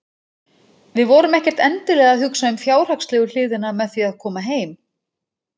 Við vorum ekkert endilega að hugsa um fjárhagslegu hliðina með því að koma heim.